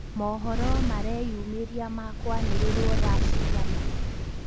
Mohoro mareyumĩria makwanĩrĩrwo thaa cigana?